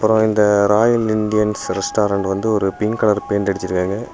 அப்புறம் இந்த Royal Indians restaurant வந்து ஒரு பிங்க் கலர் பெயிண்ட் அடிச்சிருக்காங்க.